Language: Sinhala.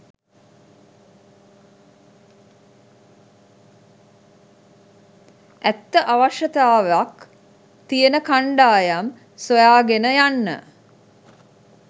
ඇත්ත අවශ්‍යතාවක් තියෙන කණ්ඩායම් සොයාගෙන යන්න